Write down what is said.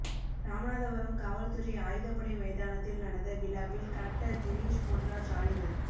ராமநாதபுரம் காவல்துறை ஆயுதப்படை மைதானத்தில் நடந்த விழாவில் கலெக்டர் தினேஷ் பொன்ராஜ்ஆலிவர்